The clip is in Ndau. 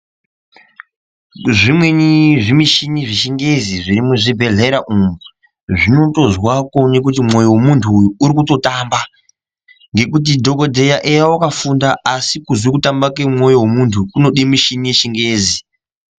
Zvimweni zvimuchini zvechingezi zviri muchibhedhleya umwu zvinotozwa kuone kuti mwoyo wemuntu nyu urikutotamba ngekuti dhokodheya eya wakafunda asi kuzwe kutamba kwemwoyo wemuntu kunode michini yechingezi.